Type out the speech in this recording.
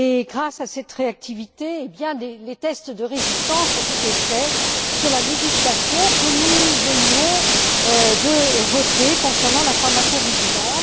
Grâce à cette réactivité, des tests de résistance ont été réalisés sur la législation que nous venions de voter concernant la pharmacovigilance.